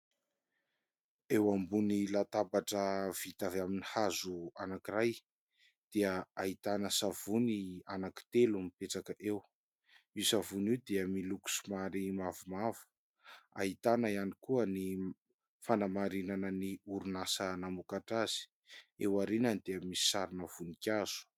Eo ambony latabatra vita avy amin'ny hazo anankiray, dia ahitana savony anankitelo mipetraka eo; io savony io dia miloko somary mavomavo, ahitana ihany koa ny fanamarinana ny orinasa namokatra azy, eo aorinany dia misy sarina vonikazo.